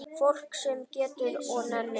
Fólk sem getur og nennir.